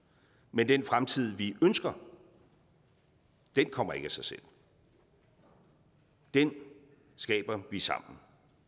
men den fremtid vi ønsker kommer ikke af sig selv den skaber vi sammen